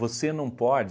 não pode